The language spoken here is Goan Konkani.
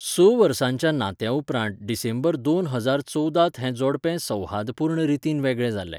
स वर्सांच्या नात्या उपरांत डिसेंबर दोन हजार चोवदा त हे जोडपें सौहार्दपूर्ण रितीन वेगळें जालें.